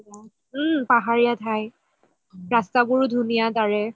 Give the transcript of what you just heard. উম পাহাৰিয়া ঠাই ৰাস্তাবোৰও ধুনীয়া তাৰে